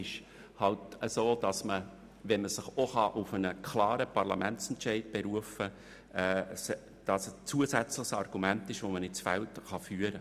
Aber wenn man sich auf einen klaren Parlamentsentscheid berufen kann, kann man diesen als zusätzliches Argument ins Feld führen.